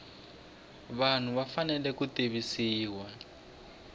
vanhu va fanele ku tivisiwa